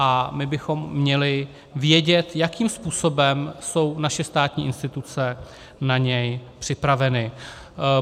A my bychom měli vědět, jakým způsobem jsou naše státní instituce na něj připraveny.